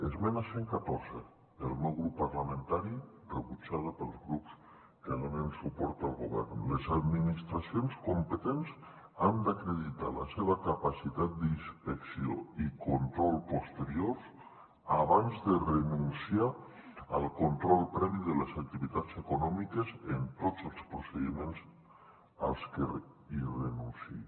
esmena cent i catorze del meu grup parlamentari rebutjada pels grups que donen suport al govern les administracions competents han d’acreditar la seva capacitat d’inspecció i control posteriors abans de renunciar al control previ de les activitats econòmiques en tots els procediments als que renunciï